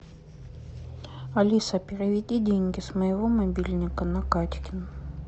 алиса переведи деньги с моего мобильника на катькин